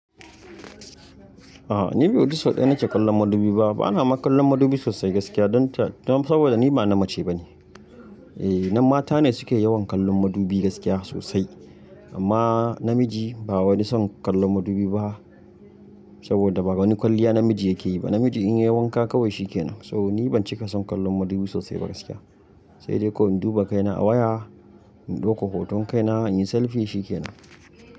A'a ni kam bai fi sau ɗaya nake kallon madubi ba. Bana ma kallon madubi sosai gaskiya don saboda ni ba na mace ba ne. Eh, nan mata ne suke yawan kallon madubi gaskiya sosai. Amma namiji ba wani son kallon madubi ba saboda ba wani kwalliya namiji yake yi ba. Namiji in ya yi wanka kawai shi ke nan. So ni ban cika son kallon madubi sosai ba gaskiya. Sai dai ko in duba kaina a waya, in ɗauko hoton kaina, in yi selfi shi ke nan.